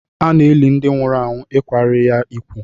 A na-eli ndị nwụrụ anwụ ikwari ya ikwu.